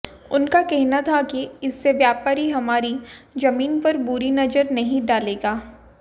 उनका कहना था कि इससे व्यापारी हमारी ज़मीन पर बुरी नज़र नहीं डालेगा